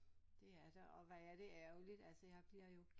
Det er der og hvor er det ærgerligt altså jeg bliver jo